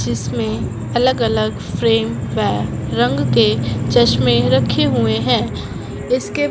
जिसमें अलग अलग फ्रेम व रंग के चश्मे रखे हुए हैं इसके--